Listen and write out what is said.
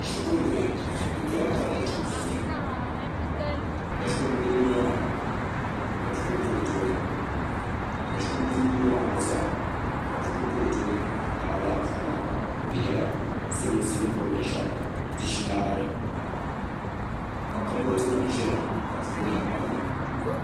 Shukuru bihi ka shikuru bili yino maa ka buku pa o tooni ka shikuru bili yino maa gba zaa ka buku pa o tooni amaa lala buku maa di nyɛla silimiinsi ni boli binshaɣu ni dishinari ka kaboori nima zaya ka buku nima palili.